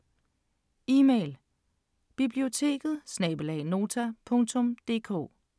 Email: biblioteket@nota.dk